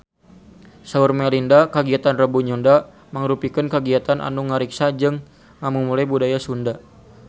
Saur Melinda kagiatan Rebo Nyunda mangrupikeun kagiatan anu ngariksa jeung ngamumule budaya Sunda